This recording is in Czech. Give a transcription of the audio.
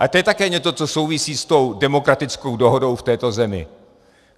Ale to je také něco, co souvisí s tou demokratickou dohodou v této zemi.